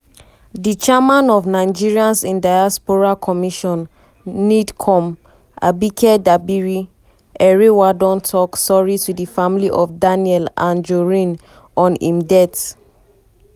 di chairman of nigerians in diaspora commission (nidcom) abike dabiri-erewa don tok sorry to di family of daniel anjorin on im death.